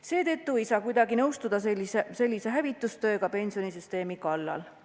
Seetõttu ei saa kuidagi nõustuda sellise hävitustööga pensionisüsteemi kallal.